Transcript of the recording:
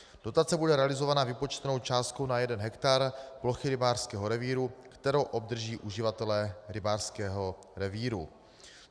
Dotace bude realizovaná vypočtenou částkou na jeden hektar plochy rybářského revíru, kterou obdrží uživatelé rybářského revíru.